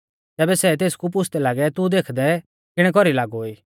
तैबै सै तेसकु पुछ़दै लागै तू देखदै किणै कौरी लागौ ई